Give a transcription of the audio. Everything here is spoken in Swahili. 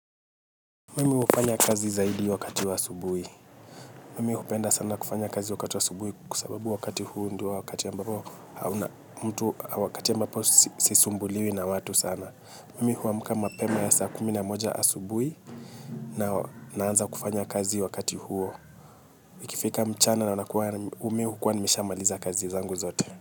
Mimi hufanya kazi zaidi wakati wa asubuhi. Mimi hupenda sana kufanya kazi wakati wa asubuhi kwa sababu wakati huo ndio wakati ambapo hauna mtu wakati ambapo sisumbuliwi na watu sana. Mimi huwa amuka mapema ya saa kumi na moja asubuhi na naanza kufanya kazi wakati huo. Ikifika mchana na nakuwa mihukuwa nimeshamaliza kazi zangu zote.